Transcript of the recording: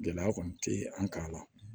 Gɛlɛya kɔni tɛ an k'a la